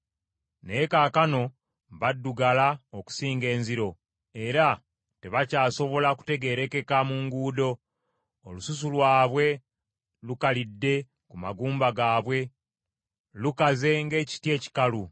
Naye kaakano badduggala okusinga enziro, era tebakyasobola kutegeerekeka mu nguudo. Olususu lwabwe lukalidde ku magumba gaabwe; lukaze ng’ekiti ekikalu.